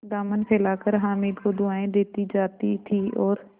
दामन फैलाकर हामिद को दुआएँ देती जाती थी और